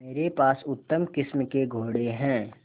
मेरे पास उत्तम किस्म के घोड़े हैं